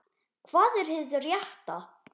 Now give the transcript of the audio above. Hvað er hið rétta?